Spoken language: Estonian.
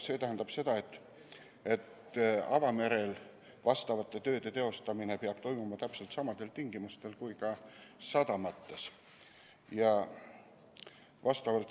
See tähendab seda, et avamerel vastavate tööde teostamine peab toimuma täpselt samadel tingimustel kui sadamates.